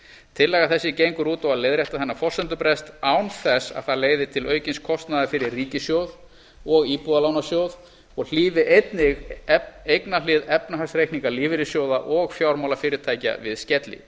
tillaga þessi gengur út á að leiðrétta þennan forsendubrest án þess að það leiði til aukins kostnaðar fyrir ríkissjóð og íbúðalánasjóð og hlífi einnig eignahlið efnahagsreikninga lífeyrissjóða og fjármálafyrirtækja við skelli